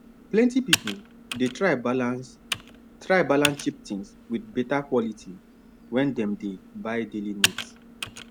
plenty people dey try balance try balance cheap things with better quality when dem dey buy daily needs